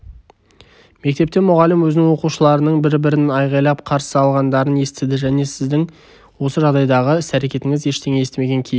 мектепте мұғалім өзінің оқушыларының бір-бірін айғайлап қарсы алғандарын естіді сіздің осы жағдайдағы іс-әрекетіңіз ештеңе естімеген кейіп